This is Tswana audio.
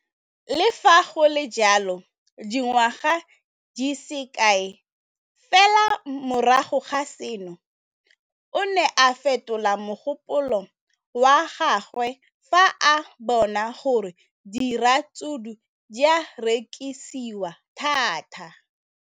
Le fa go le jalo, dingwaga di se kae fela morago ga seno, o ne a fetola mogopolo wa gagwe fa a bona gore diratsuru di rekisiwa thata.